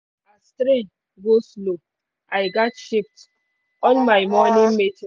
as train go-slow i gats shift all my morning meeting